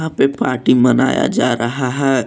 यहां पे पार्टी मनाया जा रहा है।